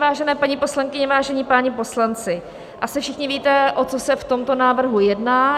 Vážené paní poslankyně, vážení páni poslanci, asi všichni víte, o co se v tomto návrhu jedná.